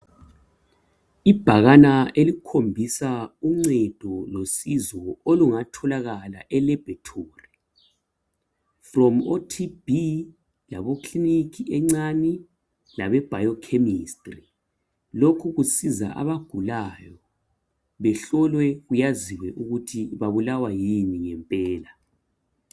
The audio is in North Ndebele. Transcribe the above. Ibhakana elikhombisa uncedo losizo olungatholakala laboratory from oTB labo clinic encani labe biochemistry. Lokhu kusiza abagulayo behlolwe kwaziwe ukuthi babulawa yini ngempela.